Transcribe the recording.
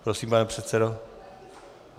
Prosím, pane předsedo.